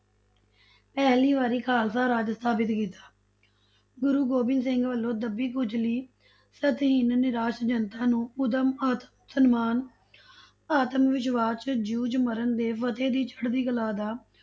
ਪਹਿਲੀ ਵਾਰੀ ਖਾਲਸਾ ਰਾਜ ਸਥਾਪਤ ਕੀਤਾ, ਗੁਰੂ ਗੋਬਿੰਦ ਸਿੰਘ ਵਲੋਂ ਦੱਬੀ ਕੁਚਲੀ, ਸਤਹੀਣ, ਨਿਰਾਸ਼ ਜਨਤਾ ਨੂੰ ਉਦਮ, ਆਤਮ ਸਨਮਾਨ ਆਤਮ ਵਿਸ਼ਵਾਸ, ਜੂਝ ਮਰਨ ਤੇ ਫ਼ਤਿਹ ਦੀ ਚੜਦੀ ਕਲਾ ਦਾ